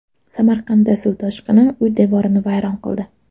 Samarqandda suv toshqini uy devorini vayron qildi .